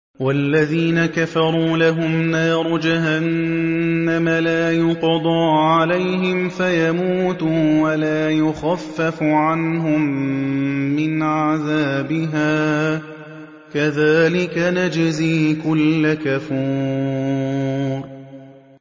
وَالَّذِينَ كَفَرُوا لَهُمْ نَارُ جَهَنَّمَ لَا يُقْضَىٰ عَلَيْهِمْ فَيَمُوتُوا وَلَا يُخَفَّفُ عَنْهُم مِّنْ عَذَابِهَا ۚ كَذَٰلِكَ نَجْزِي كُلَّ كَفُورٍ